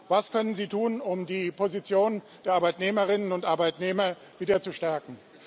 Was können Sie tun, um die Position der Arbeitnehmerinnen und Arbeitnehmer wieder zu stärken?